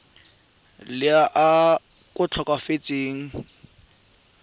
le a tlhokafetseng ka lona